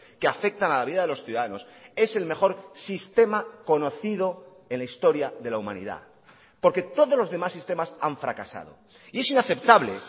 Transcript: que afectan a la vida de los ciudadanos es el mejor sistema conocido en la historia de la humanidad porque todos los demás sistemas han fracasado y es inaceptable